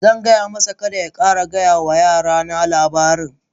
Zan gaya masa, Kada ya ƙara gaya wa yara na labarin?